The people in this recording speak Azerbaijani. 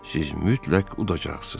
Siz mütləq udacaqsınız.